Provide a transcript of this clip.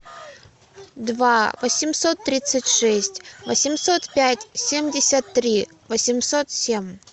два восемьсот тридцать шесть восемьсот пять семьдесят три восемьсот семь